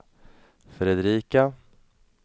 Fredrika